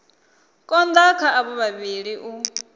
konda kha avho vhavhili u